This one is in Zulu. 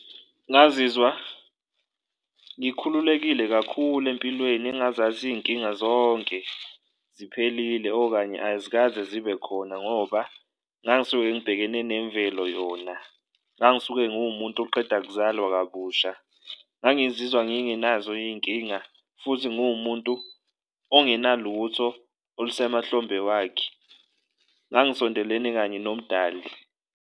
Ngazizwa ngikhululekile kakhulu empilweni engazathi iy'nkinga zonke ziphelile okanye azikaze zibe khona ngoba ngangisuke ngibhekene nemvelo yona, ngangisuke nguwumuntu oqeda kuzalwa kabusha, ngangizwa ngingenazo iy'nkinga futhi nguwumuntu ongenalutho olusemahlombe wakhe, ngangisondelene kanye nomdali.